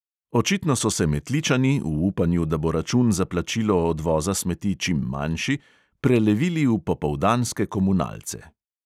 Očitno so se metličani v upanju, da bo račun za plačilo odvoza smeti čim manjši, prelevili v popoldanske komunalce.